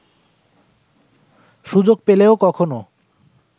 সুযোগ পেলেও কখনও